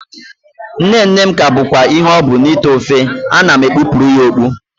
Nne nne m ka bụkwa ihe ọ bụ n'ite ofe, ana m ekpupụrụ ya okpu